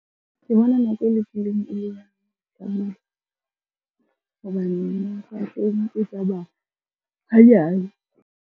Ke bona nako hobane e tsamaya hanyane.